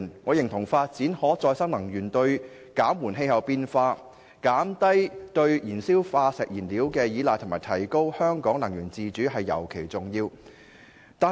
我認同發展可再生能源對於減緩氣候變化、減低對燃燒化石燃料的依賴及提高香港能源自主尤其重要。